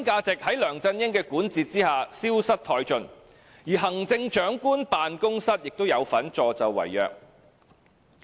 在梁振英的管治之下，核心價值消失殆盡，而行政長官辦公室亦有份助紂為虐。